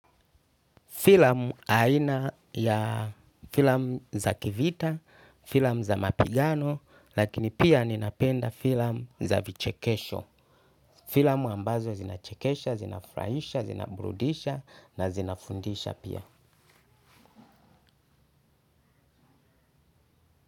Filamu aina ya filamu za kivita, filamu za mapigano, lakini pia ninapenda filamu za vichekesho. Filamu ambazo zinachekesha, zinafurahisha, zinaburudisha na zinafundisha pia.